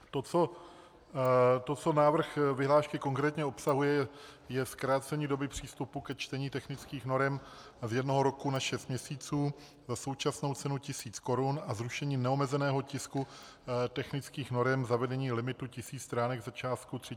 To, co návrh vyhlášky konkrétně obsahuje, je zkrácení doby přístupu ke čtení technických norem z jednoho roku na šest měsíců za současnou cenu tisíc korun a zrušení neomezeného tisku technických norem, zavedení limitu tisíc stránek za částku 3 500 korun.